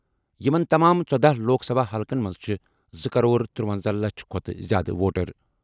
یِمَن تمام ژۄدہ لوک سبھا حلقن منٛز چھِ زٕ کرور ترونزہ لچھ کھۄتہٕ زِیٛادٕ ووٹر۔